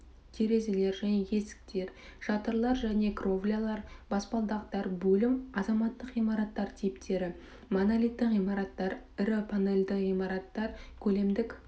терезелер және есіктер шатырлар және кровлялар баспалдақтар бөлім азаматтық ғимараттар типтері монолитті ғимараттар ірі панельді ғимараттар көлемдік